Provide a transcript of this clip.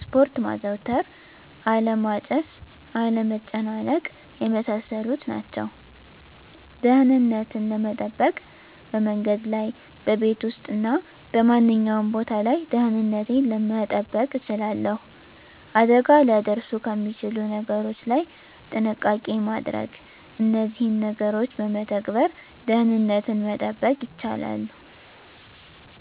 ስፖርት ማዘውተር አለማጨስ፣ አለመጨናነቅ የመሳሰሉት ናቸው። * ደህንነትን ለመጠበቅ፦ በመንገድ ላይ፣ በቤት ውስጥ እና በማንኛውም ቦታ ላይ ደህንነቴን መጠበቅ እችላለሁ። አደጋ ሊያደርሱ ከሚችሉ ነገሮች ላይ ጥንቃቄ ማድረግ እነዚህን ነገሮች በመተግበር ደህንነትን መጠበቅ ይቻላሉ።